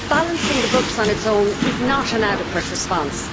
Balancing the books on its own is not an adequate response.